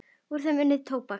Úr þeim er unnið tóbak.